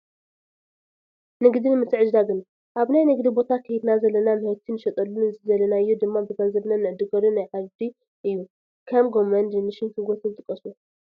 ንግድን ምትዕድዳግን፡- ኣብ ናይ ንግዲ ቦታ ከይድና ዘለና ምህርቲ ንሸጠሉን ዝደለናዮ ድማ ብገንዘብና ንዕድገሉን ናይ ዓውዲ እዩ፡፡ ከም ጎመን፣ ድንሽን ሽጉርትን ይጥቀሱ፡፡